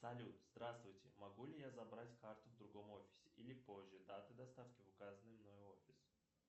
салют здравствуйте могу ли я забрать карту в другом офисе или позже даты доставки в указанный мной офис